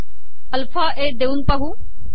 alpha A देऊन पाहू